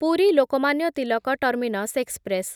Puri Lokmanya Tilak terminus express